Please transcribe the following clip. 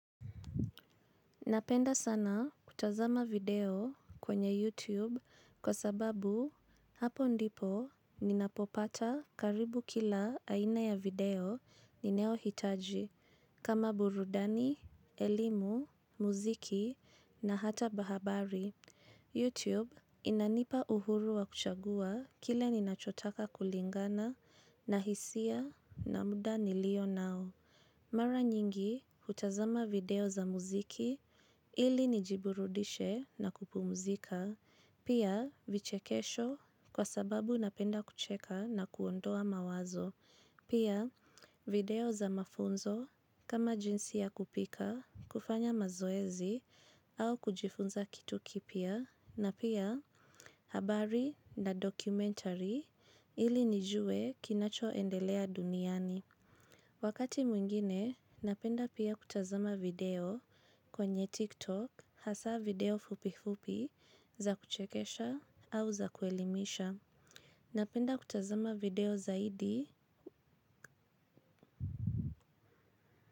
Napenda sana kutazama video kwenye YouTube kwa sababu hapo ndipo ninapopata karibu kila aina ya video ninayo hitaji kama burudani, elimu, muziki na hata habari. YouTube inanipa uhuru wa kuchagua kile ninachotaka kulingana na hisia na muda nilio nao. Mara nyingi kutazama video za muziki ili nijiburudishe na kupumzika, pia vichekesho kwa sababu napenda kucheka na kuondoa mawazo, pia video za mafunzo kama jinsi ya kupika, kufanya mazoezi au kujifunza kitu kipya, na pia habari na dokumentari ili nijue kinacho endelea duniani. Wakati mwingine, napenda pia kutazama video kwenye TikTok haswaa video fupi fupi za kuchekesha au za kuelimisha. Napenda kutazama video zaidi.